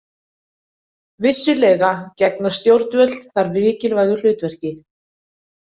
Vissulega gegna stjórnvöld þar mikilvægu hlutverki.